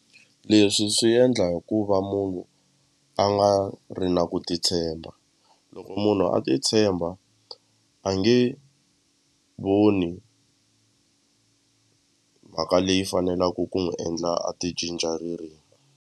Leswi swi endla hi ku va munhu a nga ri na ku titshemba loko munhu a ti tshemba a nge voni mhaka leyi fanelaku ku n'wi endla a ti cinca ririmi.